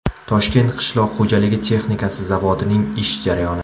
Toshkent qishloq xo‘jaligi texnikasi zavodining ish jarayoni .